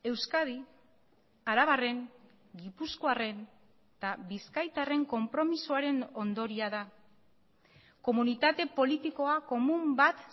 euskadi arabarren gipuzkoarren eta bizkaitarren konpromisoaren ondorioa da komunitate politikoa komun bat